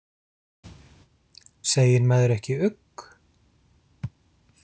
Segir maður ekki ugg?